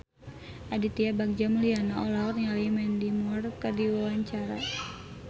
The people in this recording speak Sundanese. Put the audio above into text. Aditya Bagja Mulyana olohok ningali Mandy Moore keur diwawancara